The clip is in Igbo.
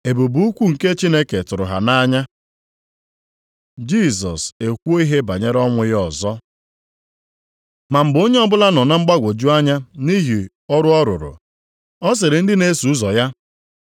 Ebube ukwu nke Chineke tụrụ ha nʼanya. Jisọs ekwuo ihe banyere ọnwụ ya ọzọ Ma mgbe onye ọbụla nọ na mgbagwoju anya nʼihi ọrụ ọ rụrụ, ọ sịrị ndị na-eso ụzọ ya,